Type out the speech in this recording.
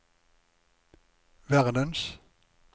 verdens